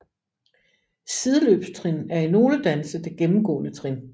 Sideløbstrin er i nogle danse det gennemgående trin